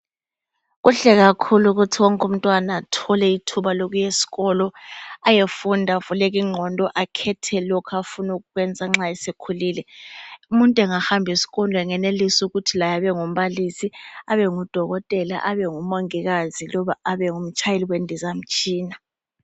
Kuhle kakhulu ukuthi wonke umntwana athole ithuba lokuyesikolo ayefunda avuleke ingqondo, akhethe lokho afuna ukukwenza nxa esekhulile. Umuntu engahamba esikolo angenelisa ukuthi laye abengumbalisi, abengudokotela, abengumongikazi loba abengumtshayeli wendizamtshina.